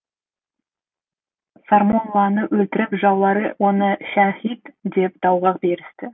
сармолланы өлтіріп жаулары оны шәһит деп дағуа берісті